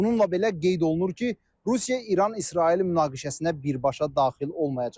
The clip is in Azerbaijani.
Bununla belə, qeyd olunur ki, Rusiya İran-İsrail münaqişəsinə birbaşa daxil olmayacaq.